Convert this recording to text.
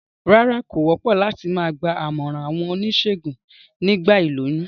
Rárá, kò wópò láti ma gba àmòràn àwon onísègùn nígba ìlóyún